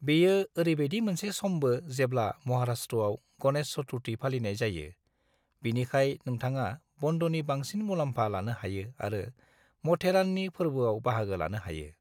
बेयो ओरैबायदि मोनसे समबो जेब्ला महाराष्ट्रआव गणेश चतुर्थी फालिनाय जायो, बिनिखाय नोंथाङा बन्दनि बांसिन मुलाम्फा लानो हायो आरो माथेराननि फोरबोफोराव बाहागो लानो हायो।